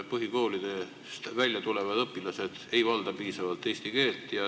Põhikooli lõpetavad õpilased ei valda piisavalt eesti keelt.